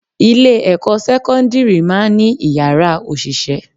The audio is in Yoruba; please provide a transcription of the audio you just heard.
Ilé-ẹ̀kọ́ sekondiri máa ń ní Ìyàrá òṣìṣẹ́.